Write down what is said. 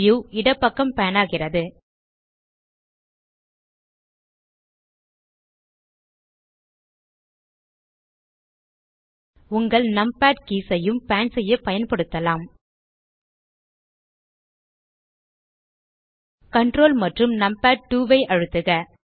view இடப்பக்கம் pan ஆகிறது உங்கள் நம்பாட் கீஸ் ஐயும் பான் செய்ய பயன்படுத்தலாம் ctrl மற்றும் நம்பாட்2 ஐ அழுத்துக